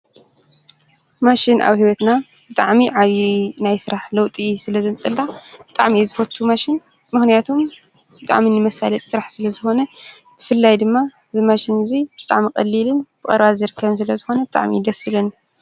ማሽን ኣብ ሕይወትና ጥዕሚ ዓብዪ ናይ ሥራሕ ለውጢ ስለ ዘንጽልላ ጣዕሚ ዝፈቱ ማሽን ምሕንያቶም ጥዕሚኒ መሣለጥ ሥራሕ ስለ ዝኾነ ፍላይ ድማ ዝማሽን እዙይ ብጣዕሚ ቐሊል ብቕርባ ዘርከም ስለ ዝኾነ ጥዕሚ ይደስልን።